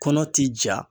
Kɔnɔ ti ja